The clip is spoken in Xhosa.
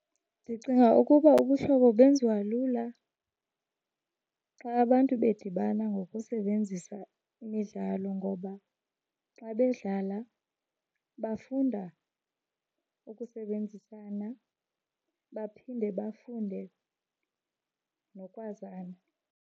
Ndicinga ukuba ubuhlobo benziwa lula xa abantu bedibana ngokusebenzisa imidlalo, ngoba xa bedlala bafunda ukusebenzisana baphinde bafunde nokwazana.